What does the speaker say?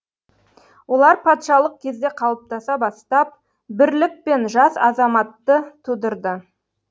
олар патшалық кезде қалыптаса бастап бірлік пен жас азаматты тудырды